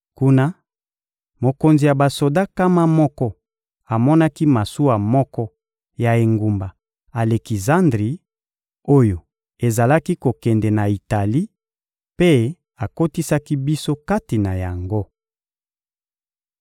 Kuna, mokonzi ya basoda nkama moko amonaki masuwa moko ya engumba Alekizandri, oyo ezalaki kokende na Itali, mpe akotisaki biso kati na yango.